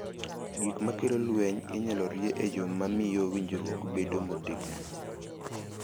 Gik ma kelo lweny inyalo rie e yo ma miyo winjruok bedo motegno .